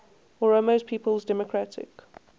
oromo people's democratic